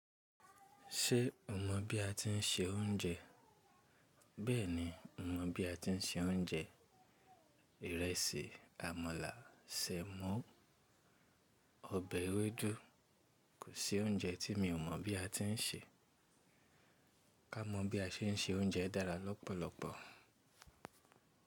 Ṣé o mọ̀ bí a ti ń se oúnjẹ? Bẹ́ẹ̀ni, mo mọ̀ bí a ti ń se oúnjẹ: ìrẹsì, àmàlà, semo, ọbẹ̀ ewédú kò sí oúnjẹ tí mi ò mọ̀ bí a ti ń se. Ká mọ bí a se é ń se oúnjẹ dára lọ́pọ̀lọpọ̀.